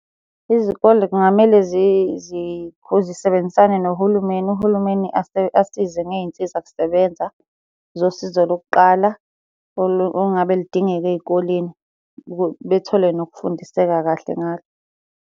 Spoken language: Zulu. Izikole kungamele zisebenzisane nohulumeni, uhulumeni asize ngey'nsiza kusebenza zosizo lokuqala ongabe ludingeka ey'koleni bethole nokufundiseka kahle ngalo.